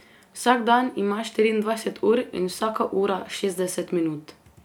Vsak dan ima štiriindvajset ur in vsaka ura šestdeset minut.